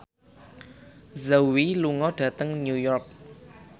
Zhao Wei lunga dhateng New York